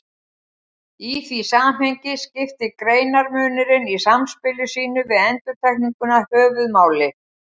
Í því samhengi skiptir greinarmunurinn í samspili sínu við endurtekninguna höfuðmáli.